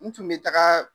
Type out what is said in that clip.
N tun bɛ taga